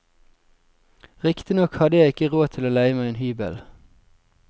Riktignok hadde jeg ikke råd til å leie meg en hybel.